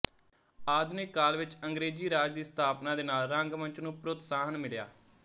ਆਧੁਨਿਕ ਕਾਲ ਵਿੱਚ ਅੰਗਰੇਜ਼ੀ ਰਾਜ ਦੀ ਸਥਾਪਨਾ ਦੇ ਨਾਲ ਰੰਗ ਮੰਚ ਨੂੰ ਪ੍ਰੋਤਸਾਹਨ ਮਿਲਿਆ